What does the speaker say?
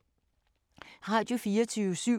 Radio24syv